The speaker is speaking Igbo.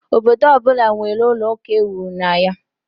Obodo ọ bụla nwere ụlọ ụka ewuru na ya.